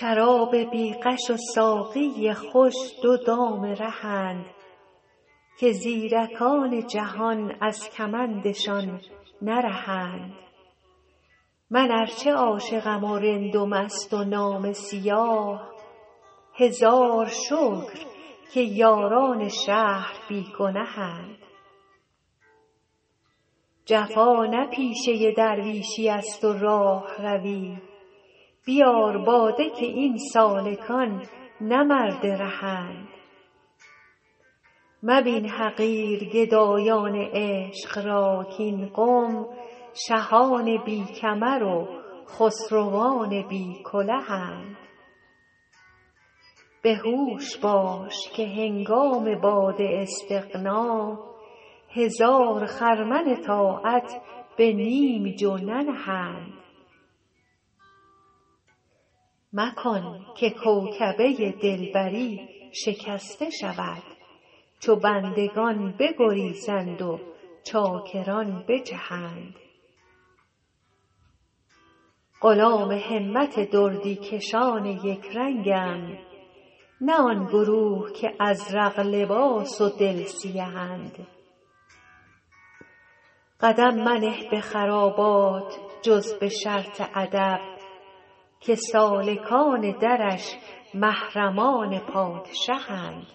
شراب بی غش و ساقی خوش دو دام رهند که زیرکان جهان از کمندشان نرهند من ار چه عاشقم و رند و مست و نامه سیاه هزار شکر که یاران شهر بی گنهند جفا نه پیشه درویشیست و راهروی بیار باده که این سالکان نه مرد رهند مبین حقیر گدایان عشق را کاین قوم شهان بی کمر و خسروان بی کلهند به هوش باش که هنگام باد استغنا هزار خرمن طاعت به نیم جو ننهند مکن که کوکبه دلبری شکسته شود چو بندگان بگریزند و چاکران بجهند غلام همت دردی کشان یک رنگم نه آن گروه که ازرق لباس و دل سیهند قدم منه به خرابات جز به شرط ادب که سالکان درش محرمان پادشهند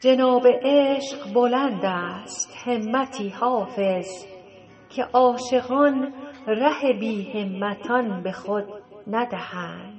جناب عشق بلند است همتی حافظ که عاشقان ره بی همتان به خود ندهند